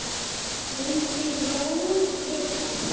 vildi Jón vita.